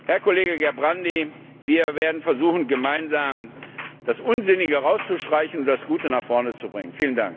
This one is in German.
Herr Kollege Gerbrandy, wir werden versuchen, gemeinsam das Unsinnige herauszustreichen und das Gute nach vorne zu bringen.